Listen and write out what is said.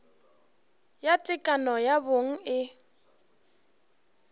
ya tekano ya bong e